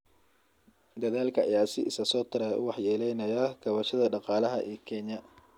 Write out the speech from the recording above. Daadadka ayaa si isa soo taraya u waxyeeleynaya kaabayaasha dhaqaalaha ee Kenya.